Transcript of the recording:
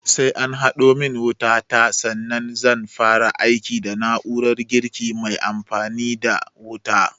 Sai an haɗo min wuta ta sannan zan fara amfani da na'urar girkin mai aiki da wuta